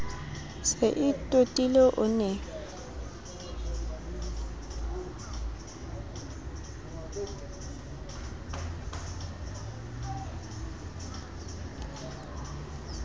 se e totile o ne